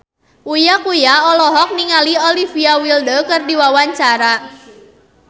Uya Kuya olohok ningali Olivia Wilde keur diwawancara